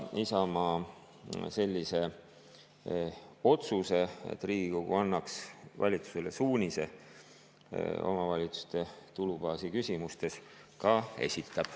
Isamaa sellise otsuse, et Riigikogu annaks valitsusele suunise omavalitsuste tulubaasi küsimustes, ka esitab.